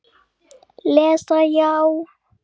Lesa já?